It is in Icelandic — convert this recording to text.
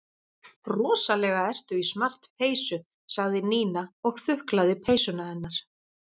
Rosalega ertu í smart peysu sagði Nína og þuklaði peysuna hennar.